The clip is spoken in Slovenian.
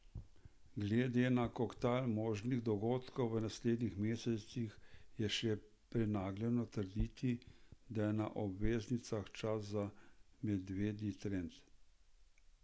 Glede na koktajl možnih dogodkov v naslednjih mesecih je še prenagljeno trditi, da je na obveznicah čas za medvedji trend.